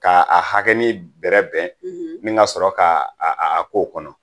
Ka a hakɛnin bɛrɛbɛn nin kasɔrɔ ka a k'o kɔnɔ